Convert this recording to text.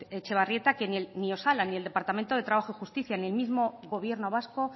etxebarrieta que ni osalan ni el departamento de trabajo y justicia ni el mismo gobierno vasco